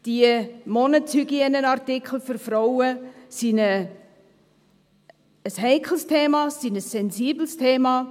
Die Monatshygieneartikel für Frauen sind eine heikles, ein sensibles Thema.